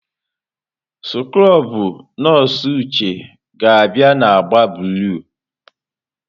Skrobụ nọọsụ Uche ga-abịa na agba blụu.